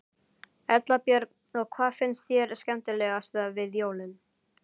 Erla Björg: Og hvað finnst þér skemmtilegast við jólin?